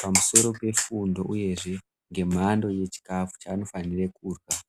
pamusoro pefundo uyezve ngemhando yechikafu chaanofanirwa kurya